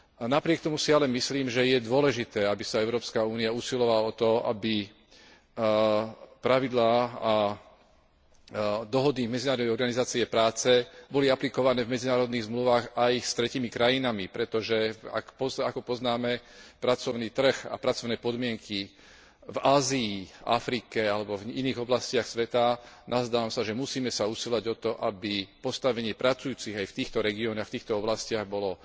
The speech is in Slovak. Napriek tomu si ale myslím, že je dôležité, aby sa Európska únia usilovala o to, aby pravidlá a dohody Medzinárodnej organizácie práce boli aplikované v medzinárodných zmluvách aj s tretími krajinami, pretože ako poznáme pracovný trh a pracovné podmienky v Ázii, v Afrike alebo v iných oblastiach sveta, nazdávam sa, že musíme sa usilovať o to, aby postavenie pracujúcich aj v týchto regiónoch, aj v týchto oblastiach bolo